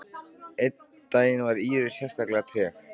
Einn daginn var Íris sérlega treg.